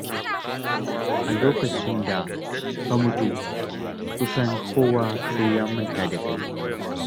A lokacin da ka mutu, kusan kowa sai ya manta da kai.